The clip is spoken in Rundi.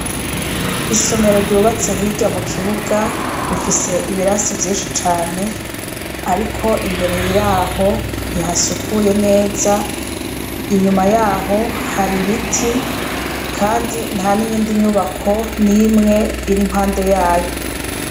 Isomero ryubatse hirya mu kibuga rifise ibirasi vyinshi cane, ariko imbere yaho ntihasukuye neza inyuma yaho hari ibiti, kandi nta n'iyindi nyubako n'imwe iri mpande yayo.